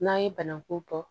N'an ye banaku tɔ